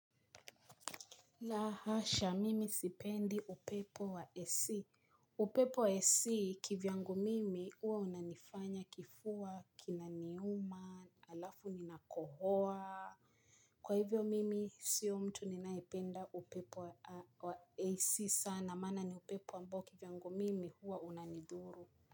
La hasha mimi sipendi upepo wa AC. Upepo wa AC kivyangu mimi uwa unanifanya kifua kinaniuma alafu ninakohoa. Kwa hivyo mimi sio mtu ninaipenda upepo wa AC sana mana ni upepo ambao kivyangu mimi huwa unanidhuru.